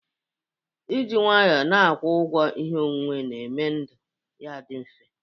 Ị jị nwanyọ n'akwọ ụgwọ ihe onwuwe na-eme ndụ ya dị mfe.